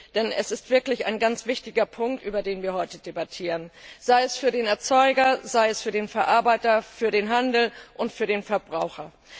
Denn es ist wirklich ein ganz wichtiger Punkt, über den wir heute debattieren, sei es für den Erzeuger, den Verarbeiter, für den Handel oder für den Verbraucher.